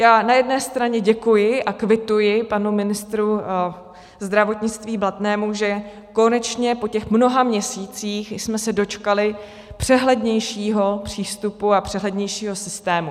Já na jedné straně děkuji a kvituji panu ministru zdravotnictví Blatnému, že konečně po těch mnoha měsících jsme se dočkali přehlednějšího přístupu a přehlednějšího systému.